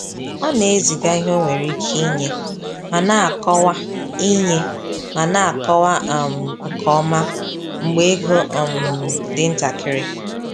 Ọ na-eziga ihe ọ nwere ike inye ma na-akọwa inye ma na-akọwa um nke ọma mgbe ego um dị ntakịrị.